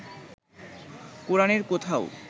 কোরানের কোথাও